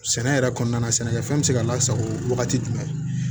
Sɛnɛ yɛrɛ kɔnɔna na sɛnɛkɛfɛn bɛ se ka lasago wagati jumɛn